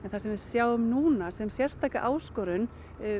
við sjáum núna sem sérstaka áskorun